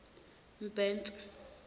mbhense